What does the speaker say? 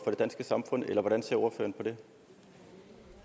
det